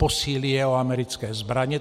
Posílí je o americké zbraně.